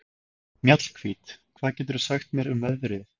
Mjallhvít, hvað geturðu sagt mér um veðrið?